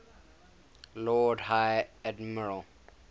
lord high admiral